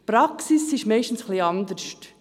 Die Praxis ist meistens etwas anders.